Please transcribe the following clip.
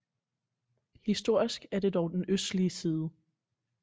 Historisk er det dog den østlige side